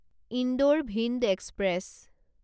Indore Bhind express